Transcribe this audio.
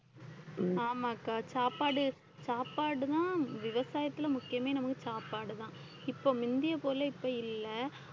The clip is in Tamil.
ஆமாக்கா சாப்பாடு சாப்பாடுதான் விவசாயத்துல முக்கியமே நமக்கு சாப்பாடுதான் இப்ப முந்திய போல இப்ப இல்லை